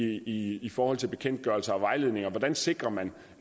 i i forhold til bekendtgørelser og vejledninger hvordan sikrer man